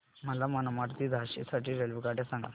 मला मनमाड ते झाशी साठी रेल्वेगाड्या सांगा